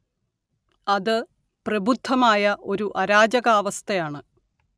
അത് പ്രബുദ്ധമായ ഒരു അരാജകാവസ്ഥയാണ്